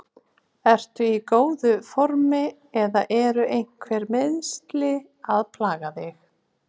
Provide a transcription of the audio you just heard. Ertu í mjög góðu formi eða eru einhver meiðsli að plaga þig?